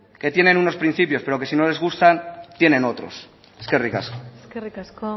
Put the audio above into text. que tienen unos principios pero que sí no les gustan tienen otros eskerrik asko eskerrik asko